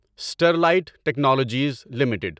Sterlite Technologies limited